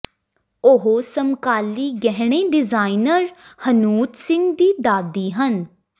ਉਹ ਸਮਕਾਲੀ ਗਹਿਣੇ ਡਿਜ਼ਾਇਨਰ ਹਨੂਤ ਸਿੰਘ ਦੀ ਦਾਦੀ ਹਨ